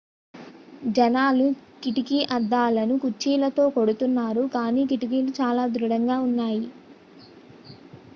జనాలు కిటికీ అద్దాలను కుర్చీలతో కొడుతున్నారు కానీ కిటికీలు చాలా దృఢంగా ఉన్నాయి